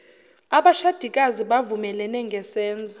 abashadikazi bavumelene ngesenzo